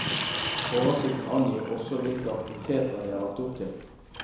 Oversikten angir også hvilke aktiviteter det er lagt opp til.